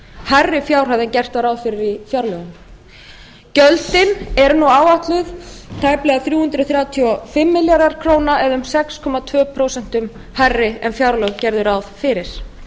hærri fjárhæð en gert var ráð fyrir í fjárlögum gjöldin eru nú áætluð tæplega þrjú hundruð þrjátíu og fimm milljarðar króna eða um sex komma tvö prósent hærri en fjárlög gerðu ráð fyrir